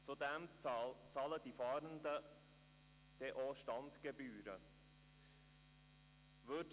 Zudem müssten die Fahrenden auch Standgebühren bezahlen.